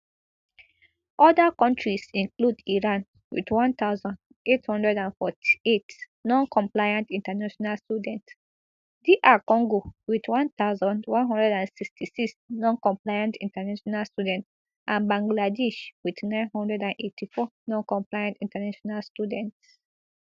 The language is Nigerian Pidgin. oda kontris include iran wit one thousand, eight hundred and forty-eight noncompliant international students dr congo wit one thousand, one hundred and sixty-six noncompliant international students and bangladesh wit nine hundred and eighty-four noncompliant international students